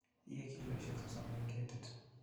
Iye kilosiek sosom en ketit.